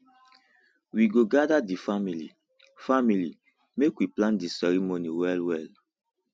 we go gather di family family make we plan di ceremony wellwell